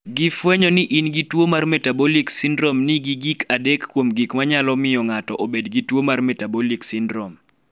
Gifwenyo ni in gi tuo mar metabolic syndrome nigi gik adek kuom gik ma nyalo miyo ng�ato obed gi tuo mar metabolic syndrome..